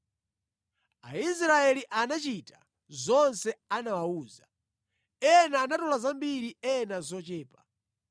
Aisraeli anachita zonse anawawuza. Ena anatola zambiri ena zochepa.